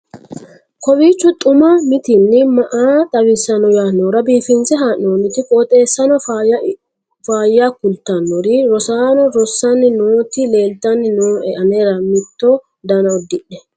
kowiicho xuma mtini maa xawissanno yaannohura biifinse haa'noonniti qooxeessano faayya kultannori rosano rossanni nooti leeltanni nooe anera mitto dana uddidhe